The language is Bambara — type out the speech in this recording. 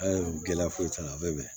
Ayi gɛlɛya foyi t'a la a bɛ bɛn